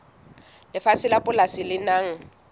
lefatshe la polasi le nang